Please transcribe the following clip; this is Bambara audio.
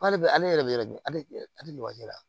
K'ale bɛ ale yɛrɛ bɛ yɛrɛ de ale la